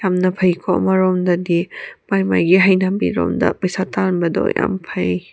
ꯌꯥꯝꯅ ꯐꯩꯀꯣ ꯑꯃꯔꯣꯝꯗꯗꯤ ꯃꯥꯏ ꯃꯥꯏꯒꯤ ꯍꯩꯅꯕꯤ ꯔꯣꯝꯗ ꯄꯩꯁꯥ ꯇꯥꯟꯕꯗꯣ ꯌꯥꯝ ꯐꯩ꯫